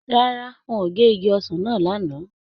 Rárá, wọn ò gé igi ọsàn náà lánàá